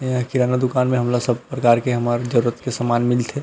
यहाँ किराना दुकान में हमला सब प्रकार के हामर जरुरत के समान मिलथे।